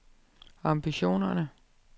ambitioner